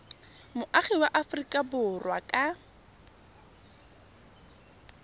moagi wa aforika borwa ka